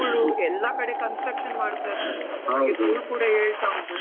ಧೂಳು ಎಲ್ಲ ಕಡೆ construction ಮಾಡ್ತಾ ಇದ್ದಾರೆ ಕೂಡ ಏಳ್ತಾ ಉಂಟು.